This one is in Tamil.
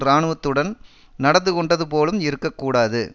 இராணுவத்துடன் நடந்து கொண்டது போலும் இருக்க கூடாது